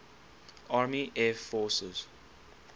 army air forces